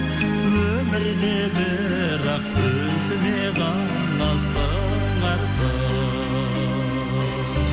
өмірде бірақ өзіме ғана сыңарсың